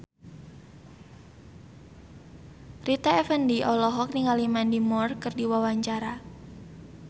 Rita Effendy olohok ningali Mandy Moore keur diwawancara